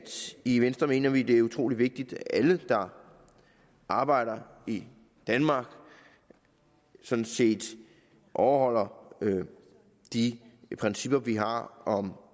i venstre mener vi at det er utrolig vigtigt at alle der arbejder i danmark sådan set overholder de principper vi har om